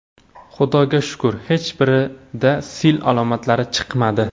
Xudoga shukr, hech birida sil alomatlari chiqmadi.